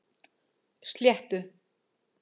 Sléttu